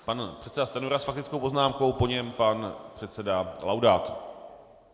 Pan předseda Stanjura s faktickou poznámkou, po něm pan předseda Laudát.